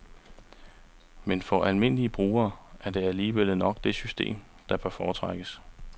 Men for almindelige brugere er det alligevel nok det system, der bør foretrækkes.